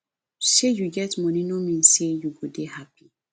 sey you get money no mean sey you go dey happy